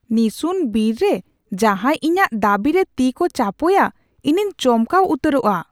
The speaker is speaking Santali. ᱱᱤᱥᱩᱱ ᱵᱤᱨ ᱨᱮ ᱡᱟᱦᱟᱸᱭ ᱤᱧᱟᱹᱜ ᱫᱟᱹᱵᱤᱨᱮ ᱛᱤ ᱠᱚ ᱪᱟᱯᱚᱭᱟ ᱤᱧᱤᱧ ᱪᱚᱢᱠᱟᱣ ᱩᱛᱟᱹᱨᱚᱜᱼᱟ ᱾